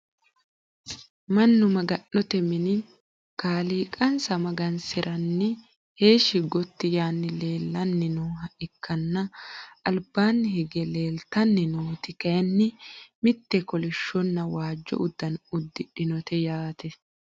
mannu maga'note mini kaliiqansa magansiraniini heeshshi gotti yaanni leelanni nooha ikkana, albaanni higge leeltanni nooti kayiinni mitte kolishshonna waajjo uddano uddidhinote yaate.